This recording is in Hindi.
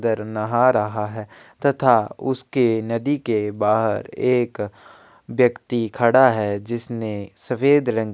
दर नहा रहा है तथा उसके नदी के बाहर एक व्यक्ति खड़ा है जिसने सफेद रंग --